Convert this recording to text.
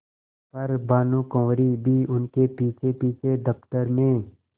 पर भानुकुँवरि भी उनके पीछेपीछे दफ्तर में